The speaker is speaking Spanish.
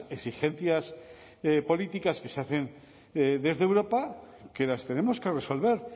exigencias políticas que se hacen desde europa que las tenemos que resolver